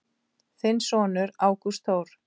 Þinn sonur Ágúst Þór.